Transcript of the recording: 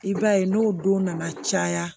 I b'a ye n'o don nana caya